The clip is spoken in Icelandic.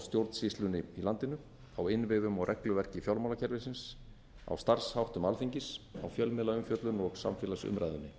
stjórnsýslunni í landinu á innviðum og regluverki fjármálakerfisins á starfsháttum alþingis á fjölmiðlaumfjöllun og samfélagsumræðunni